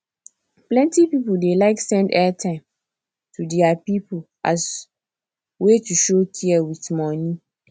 plenty people dey like send airtime to their people as way to show care with money